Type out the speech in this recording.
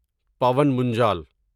پاون منجل